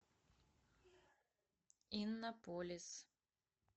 иннополис